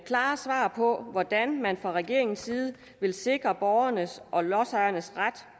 klare svar på hvordan man fra regeringens side vil sikre borgernes og lodsejernes ret